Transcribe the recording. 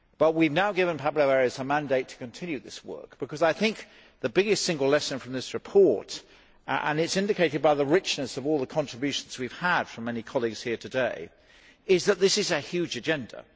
We have now given Pablo Arias a mandate to continue this work, because I think the biggest single lesson from this report as is indicated by the richness of all the contributions we have had from many colleagues here today is that this is a huge agenda.